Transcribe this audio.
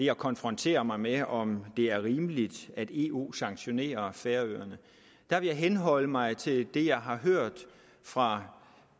at konfrontere mig med om det er rimeligt at eu sanktionerer færøerne vil jeg henholde mig til det jeg har hørt fra